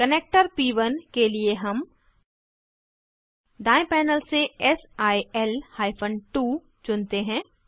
connector प1 के लिए हम दायें पैनल से सिल हाइफन 2 चुनते हैं